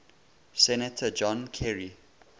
senator john kerry